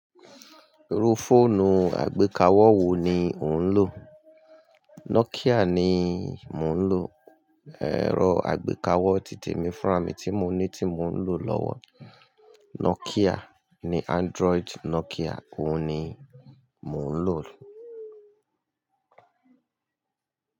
Iru fóònù àgbékawó wo ni ò ń lò? Nokia ni mo ń lò. Ẹ̀rọ àgbékawó títe mi fún ra mi tí mo ní tí mo ń lò lọ́wọ́. Nokia ni Android Nokia òun ni mò ń lò.